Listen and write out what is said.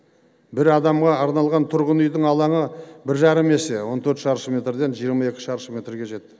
бір адамға арналған тұрғын үйдің алаңы бір жарым есе он төрт шаршы метрден жиырма екі шаршы метрге жетті